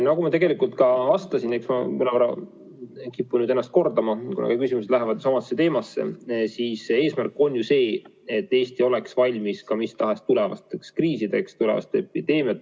Nagu ma juba vastasin – kipun nüüd end mõnevõrra kordama, kuna küsimused on sama teema kohta –, eesmärk on ju see, et Eesti oleks valmis ka mis tahes tulevasteks kriisideks, tulevasteks epideemiateks.